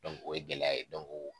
o ye gɛlɛya ye